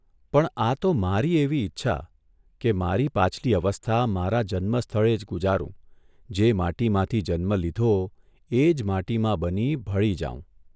પણ આ તો મારી એવી ઇચ્છા કે મારી પાછલી અવસ્થા મારા જન્મસ્થળે જ ગુજારૂં જે માટીમાંથી જન્મ લીધો એજ માટીમાં બની ભળી જાઉં.